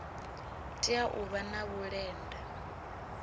tea u vha na vhulenda